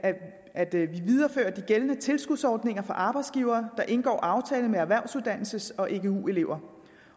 at vi viderefører de gældende tilskudsordninger for arbejdsgivere der indgår aftaler med erhvervsuddannelses og egu elever